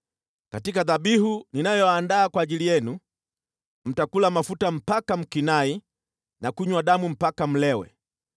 Katika dhabihu ninayoandaa kwa ajili yenu, mtakula mafuta mpaka mkinai na kunywa damu mpaka mlewe.